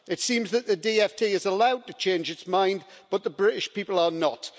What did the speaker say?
It seems that the DfT is allowed to change its mind, but the British people are not.